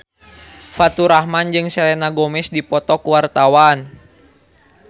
Faturrahman jeung Selena Gomez keur dipoto ku wartawan